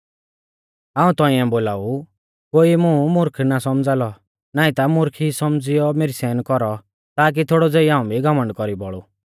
हाऊं तौंइऐ बोलाऊ कोई मुं मुर्ख ना सौमझ़ा लौ नाईं ता मुर्ख ई सौमझ़ियौ मेरी सहन कौरौ ताकी थोड़ौ ज़ेई हाऊं भी घमण्ड कौरी बोलु